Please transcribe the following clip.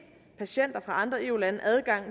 patienter fra andre eu lande adgang